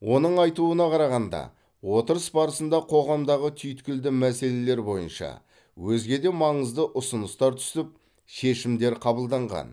оның айтуына қарағанда отырыс барысында қоғамдағы түйткілді мәселелелер бойынша өзге де маңызды ұсыныстар түсіп шешімдер қабылданған